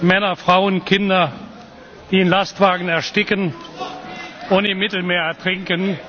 Männer, Frauen, Kinder, die in Lastwagen ersticken oder im Mittelmeer ertrinken.